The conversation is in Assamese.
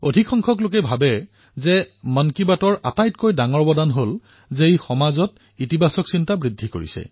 অধিক সংখ্যক লোকৰ মতে মন কী বাতৰ সকলোতকৈ বৃহৎ অৱদান এয়াই যে ই সমাজত ধনাত্মক প্ৰভাৱ বৃদ্ধি কৰে